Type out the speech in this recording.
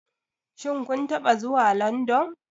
Shin kun taɓa zuwa London?